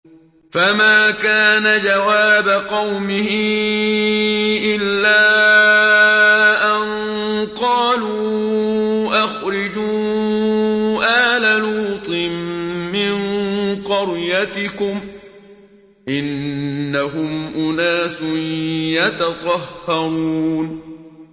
۞ فَمَا كَانَ جَوَابَ قَوْمِهِ إِلَّا أَن قَالُوا أَخْرِجُوا آلَ لُوطٍ مِّن قَرْيَتِكُمْ ۖ إِنَّهُمْ أُنَاسٌ يَتَطَهَّرُونَ